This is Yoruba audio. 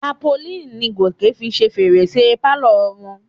Tápolíìnì ni Gòkè fi ṣe fèrèsé pálọ̀ wọn.